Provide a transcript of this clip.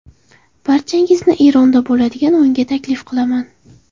Barchangizni Eronda bo‘ladigan o‘yinga taklif qilaman.